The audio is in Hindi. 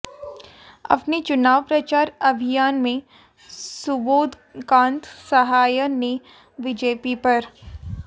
अपने चुनाव प्रचार अभियान में सुबोधकांत सहाय ने बीजेपी पर